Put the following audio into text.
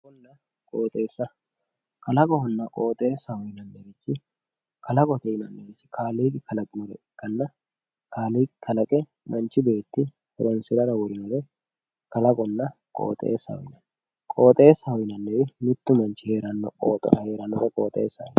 kalaqonna qooxeessa kalaqonna qooxeessaho yinannihu kalaqote yinannirichi kaaliiqqi kalaqinore ikkaanna kaaliiqi kalaqe manchi beetti horoonsirara worinore kalaqonna qooxeessaho yinanni qooxeessaho yinanniri mittu manchi heerannowa qooxeessaho yinanni